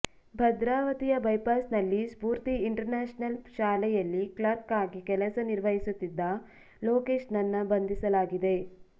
ಭದ್ರಾವತಿಯ ಬೈಪಾಸ್ ನಲ್ಲಿ Spoorthi international ಶಾಲೆಯಲ್ಲಿ ಕ್ಲಾರ್ಕ್ ಆಗಿ ಕೆಲಸ ನಿರ್ವಹಿಸುತ್ತಿದ್ದ ಲೋಕೇಶ್ ನನ್ನ ಬಂಧಿಸಲಾಗಿದೆ